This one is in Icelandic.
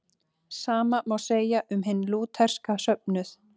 Sama má segja um hinn lútherska söfnuð.